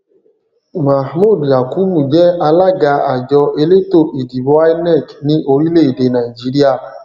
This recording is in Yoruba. mohmood yakubu je alága àjọ elétò ìdìbò inec ní orílẹ èdè nàìjíríà